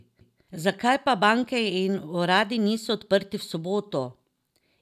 Zakaj pa banke in uradi niso odprti v soboto?